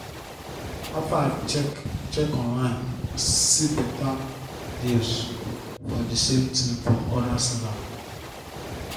after i check check online i see better deals for the same thing from other seller